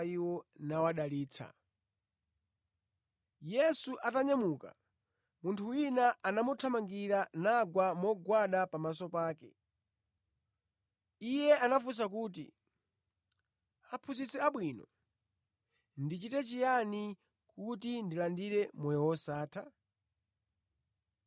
Yesu atanyamuka, munthu wina anamuthamangira nagwa mogwada pamaso pake. Iye anafunsa kuti, “Aphunzitsi abwino, ndichite chiyani kuti ndilandire moyo wosatha?”